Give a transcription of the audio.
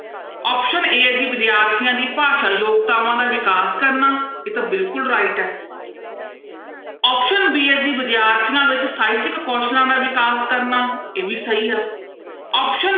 Option a ਹੈੈ ਜੀ ਵਿਦਿਆਰਥੀਆਂ ਦੀ ਭਾਸ਼ਾ ਯੋਗਤਾਵਾਂ ਦਾ ਵਿਕਾਸ ਕਰਨਾ, ਇਹ ਤਾਂ ਬਿਲਕੁਲ right ਹੈ option b ਹੈ ਜੀ ਵਿਦਿਆਰਥੀਆਂ ਵਿੱਚ ਸਾਹਿਤਿਕ ਕੌਸਲਾਂ ਦਾ ਵਿਕਾਸ ਕਰਨਾ ਇਹ ਵੀ ਸਹੀ ਆ option